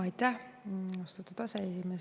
Aitäh, austatud aseesimees!